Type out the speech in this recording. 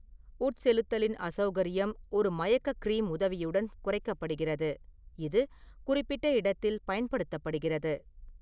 உட்செலுத்தலின் அசௌகரியம் ஒரு மயக்க கிரீம் உதவியுடன் குறைக்கப்படுகிறது, இது குறிப்பிட்ட இடத்தில் பயன்படுத்தப்படுகிறது.